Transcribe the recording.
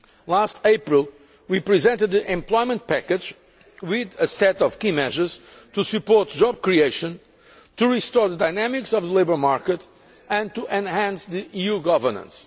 Last April we presented the Employment Package with a set of key measures to support job creation, to restore the dynamics of the labour market and to enhance the EU's governance.